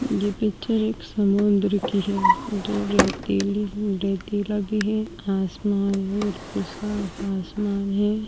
ये पिक्चर एक समुन्द्र की है जो रेतीली रेतीला भी है आसमान बिल्कुल साफ़ आसमान है।